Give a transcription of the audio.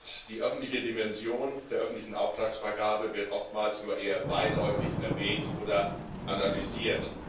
In der Tat, die öffentliche Dimension der öffentlichen Auftragsvergabe wird oftmals nur eher beiläufig erwähnt oder analysiert.